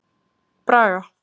Braga